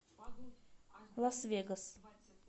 лас вегас